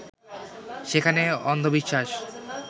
সেখানে অন্ধবিশ্বাস